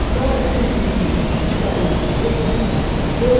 Então a gente punha o garoto dentro do pneu,